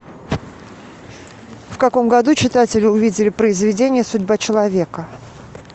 в каком году читатели увидели произведение судьба человека